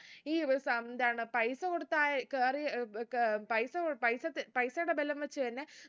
ഈ വ സം ന്താണ് പൈസ കൊടുത്താ ആയി കേറി പൈസ കൊ പൈസത്തെ പൈസയുടെ ബലം വച്ച് തന്നെ